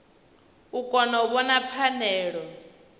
u kona u vhona pfanelo